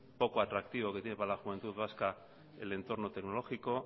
poco atractivo que tiene para la juventud vasca el entorno tecnológico